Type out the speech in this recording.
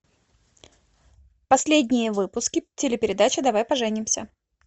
последние выпуски телепередачи давай поженимся